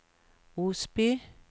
Osby